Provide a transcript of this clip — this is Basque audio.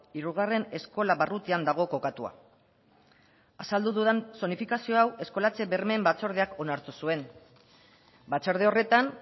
hirugarren eskola barrutian dago kokatua azaldu dudan zonifikazio hau eskolatze bermeen batzordeak onartu zuen batzorde horretan